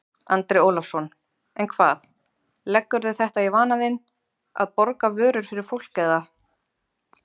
Andri Ólafsson: En hvað, leggurðu þetta í vana þinn að borga vörur fyrir fólk eða?